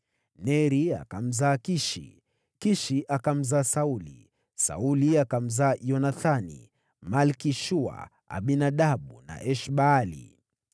Neri akamzaa Kishi, Kishi akamzaa Sauli, Sauli akamzaa Yonathani, Malki-Shua, Abinadabu na Esh-Baali.